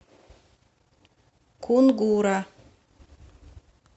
кунгура